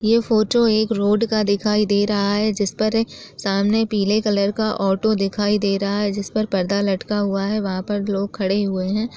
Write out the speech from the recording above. ये फोटो एक रोड का दिखाई दे रहा है जिस पर सामने पीले कलर का ऑटो दिखाई दे रहा है जिस पर पर्दा लटका हुआ है वहाँ पर लोग खड़े हुए है ।